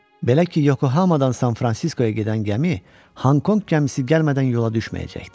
Belə ki, Yokohamadan San Fransiskoya gedən gəmi Honkonq gəmisi gəlmədən yola düşməyəcəkdi.